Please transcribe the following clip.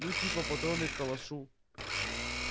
ну типа патроны к калашу